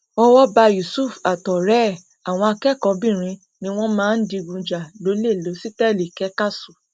owó bá yusuf àtọrẹ ẹ àwọn akẹkọọbìnrin ni wọn máa ń digun jà lọlẹ lọsítẹẹlì